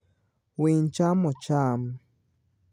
Winy chamo cham.